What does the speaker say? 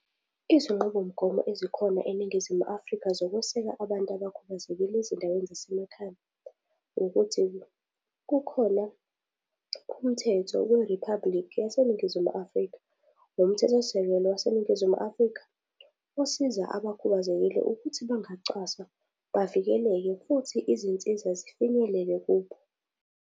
Izinqubomgomo ezikhona eNingizimu Afrika zokuseka abantu abakhubazekile ezindaweni zasemakhaya ukuthi kukhona umthetho weriphabhulikhi yaseNingizimu Afrika. Lo mthetho sisekelo waseNingizimu Afrika, usiza abakhubazekile ukuthi bangacwaswa bavikeleke futhi izinsiza zifinyelele kubo.